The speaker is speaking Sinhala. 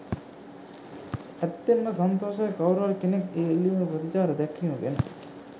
ඇත්තෙන්ම සන්තෝෂයි කවුරුහරි කෙනෙක් ඒ ඉල්ලීමට ප්‍රතිචාර දැක්වීම ගැන.